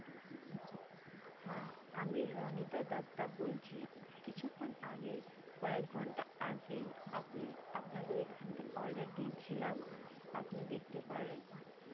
হ্যাঁ আমি রণিতা দত্তা বলছি কিছুক্ষন আগে কয়েকঘন্টা আগেই আপনি আপনাদের এখানে একটা order দিয়েছিলাম আপনি দেখতে পারেন